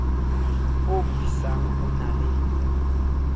o busang o na le